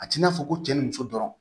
A t'i n'a fɔ ko cɛ ni muso dɔrɔn